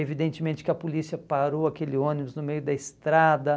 Evidentemente que a polícia parou aquele ônibus no meio da estrada.